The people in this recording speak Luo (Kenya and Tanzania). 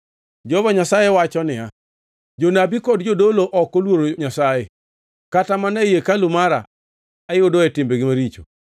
Jehova Nyasaye wacho niya, “Jonabi kod jodolo ok oluoro Nyasaye; kata mana ei hekalu mara ayudoe timbegi maricho.”